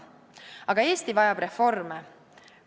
Aga Eesti vajab reforme.